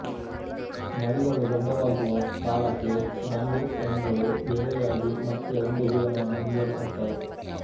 ಮರಿಗಳು ದೊಡ್ಡವಾಗುವ ಕಾಲಕ್ಕೆ ಗಂಡು ಹೆಣ್ಣುಗಳು ಬೇರೆಯಾಗಿ ಮತ್ತೆ ಒಂಟಿ ಜೀವನವನ್ನು ಮುಂದುವರಿಸುತ್ತವೆ